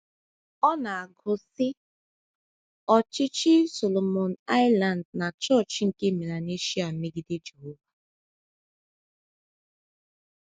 Ọ na - agụ, sị: “ Ọchịchị Solomon Islands na Chọọchị nke Melanesia megide Jehova. ”